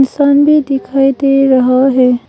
Sunday भी दिखाई दे रहा है।